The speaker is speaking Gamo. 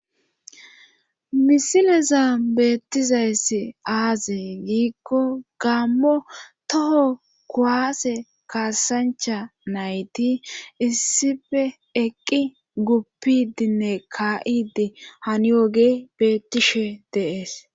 misileza beettizayssi aazee giikko gammo toho koaase kaasancha nayti issife eqqi guppidinne ka7idi haniyooge beettishe deees